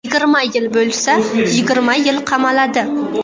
Yigirma yil bo‘lsa, yigirma yil qamaladi.